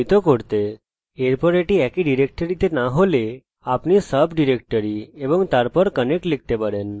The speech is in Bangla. এখন এটি যদি একই ডিরেক্টরিতে না হয় আপনি sub directory এবং তারপর connect লিখতে পারেন